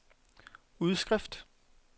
udskrift